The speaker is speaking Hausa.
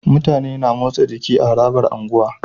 Mutane na motsa jiki a harabar unguwa